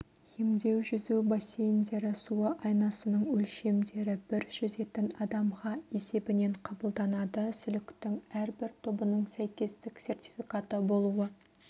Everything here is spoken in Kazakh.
емдеу-жүзу бассейндері суы айнасының өлшемдері бір жүзетін адамға есебінен қабылданады сүліктің әрбір тобының сәйкестік сертификаты болуы